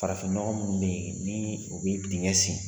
Farafinɲɔgɔn minnu bɛ yen ni o bɛ dengɛ sen